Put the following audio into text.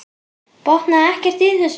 Botnaði ekkert í þessu.